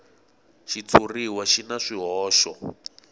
xitshuriwa xi na swihoxo